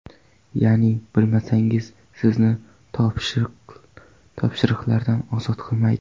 Ya’ni bilmasligingiz sizni topshiriqlardan ozod qilmaydi.